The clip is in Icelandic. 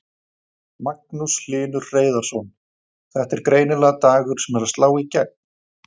Magnús Hlynur Hreiðarsson: Þetta er greinilega dagur sem er að slá í gegn?